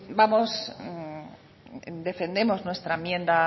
defendemos nuestra enmienda